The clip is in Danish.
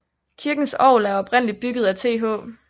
Kirkens orgel er oprindeligt bygget af TH